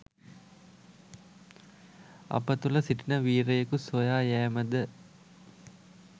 අප තුළ සිටින වීරයෙකු සොයා යෑම ද?